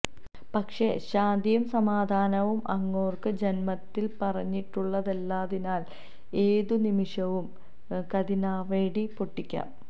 പക്ഷേ ശാന്തിയും സമാധാനവും അങ്ങോർക്ക് ജന്മത്തിൽ പറഞ്ഞിട്ടുളളതല്ലാത്തതിനാൽ ഏതു നിമിഷവും കതിനാവെടി പൊട്ടിക്കാം